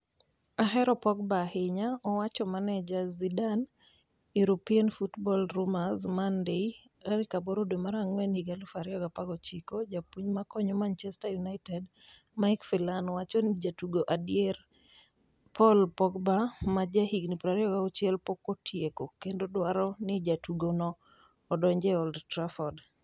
'Ahero Pogba ahinya'' owacho manaja Zidane European Football Rumors Monday 08.04.2019 Japuonj ma konyo manchester United, Mike Phelan, wacho ni jatugo ediere Paul Pogba, ma jahigni 26, "pok otieko" kendo odwaro ni jatugo no odong' e Old Trafford.